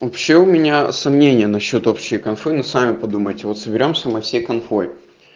вообще у меня сомнения насчёт общей конфы ну сами подумайте вот соберёмся мы всей конфой